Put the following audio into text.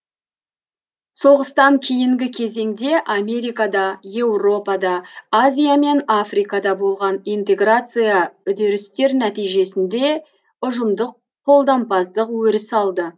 соғыстан кейінгі кезеңде америкада еуропада азия мен африкада болған интеграция үдерістер нәтижесінде ұжымдық қолдампаздық өріс алды